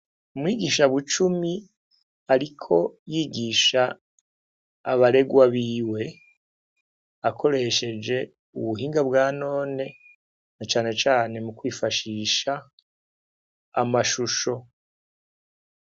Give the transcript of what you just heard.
Umwigisha Bucumi ariko yigisha abarerwa biwe, akoresheje ubuhinga bwa none, na cane cane mu kw'ifashisha amashusho.